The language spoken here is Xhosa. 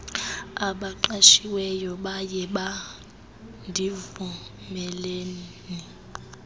abaqashiweyo bayeba ndivumeleni